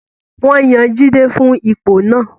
Wọ́n yan Jide fún ipò náà